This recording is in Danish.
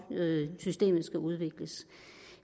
systemet skal udvikles